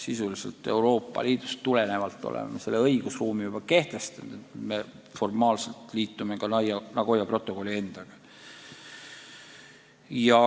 Sisuliselt oleme selle Euroopa Liidust tuleneva õigusruumi juba kehtestanud ja nüüd formaalselt liitume ka Nagoya protokolli endaga.